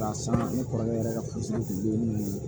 Ka san ne kɔrɔkɛ yɛrɛ ka kunsigiden nunnu ye